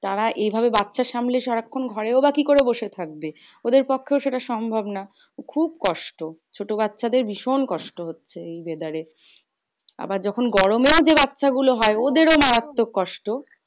তারা এইভাবে বাচ্চা সামলিয়ে সারাক্ষন ঘরেও বা কি করে বসে থাকবে? ওদের পক্ষেও সেটা সম্ভব না। খুব কষ্ট ছোটো বাচ্চা দের ভীষণ কষ্ট হচ্ছে এই weather এ। আবার যখন গরমেও যে বাচ্চা গুলো হয় ওদেরও মারাত্মক কষ্ট।